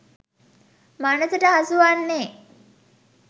මනසට හසු වන්නේ